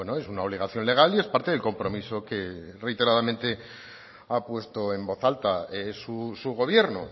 es una obligación legal y es parte del compromiso que reiteradamente ha puesto en voz alta su gobierno